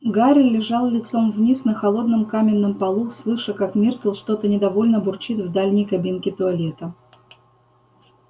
гарри лежал лицом вниз на холодном каменном полу слыша как миртл что-то недовольно бурчит в дальней кабинке туалета